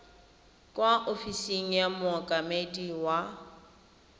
kwa ofising ya mookamedi wa